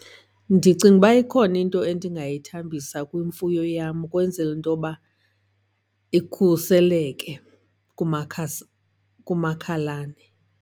Ndicinga uba ikhona into endingayithambisa kwimfuyo yam ukwenzela intoba ikhuseleke kumakhasi kumakhalane.